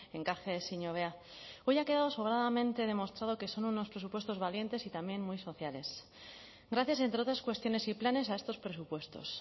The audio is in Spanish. enkaje ezin hobea hoy ha quedado sobradamente demostrado que son unos presupuestos valientes y también muy sociales gracias entre otras cuestiones y planes a estos presupuestos